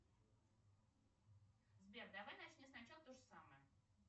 сбер давай начни с начала тоже самое